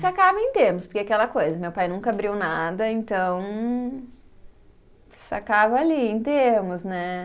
Sacava em termos, porque é aquela coisa, meu pai nunca abriu nada, então. Sacava ali, em termos, né?